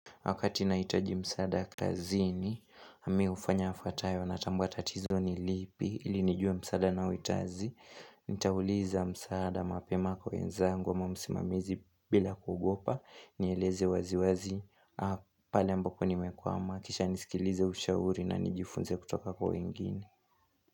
Wakati nahitaji msaada kazini, mimi hufanya yafuatayo, natambua tatizo ni lipi, ili nijue msaada ninaohitaji, nitauliza msaada mapema kwa wenzangu ama msimamizi bila kugopa, nieleze wazi wazi, pale ambapo nimekwama, kisha nisikilize ushauri na nijifunze kutoka kwa wengine.